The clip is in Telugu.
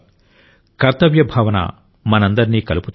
కర్తవ్య భావన మనందరినీ కలుపుతుంది